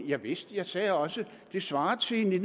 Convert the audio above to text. javist jeg sagde også at det svarer til at vi